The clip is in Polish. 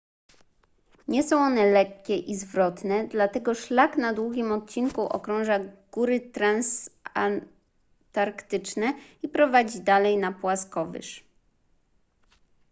nie są one lekkie i zwrotne dlatego szlak na długim odcinku okrąża góry transantarktyczne i prowadzi dalej na płaskowyż